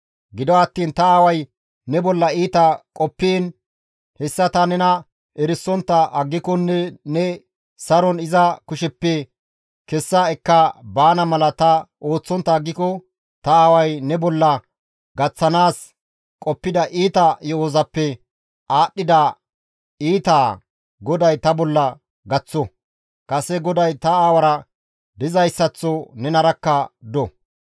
Gido attiin ta aaway ne bolla iita qoppiin, hessa ta nena erisontta aggikonne ne saron iza kusheppe kessa ekka baana mala ta ooththontta aggiko, ta aaway ne bolla gaththanaas qoppida iita yo7ozappe aadhdhida iita GODAY ta bolla gaththo; kase GODAY ta aawara dizayssaththo nenarakka do.